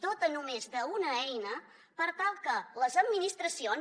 dota només d’una eina per tal que les administracions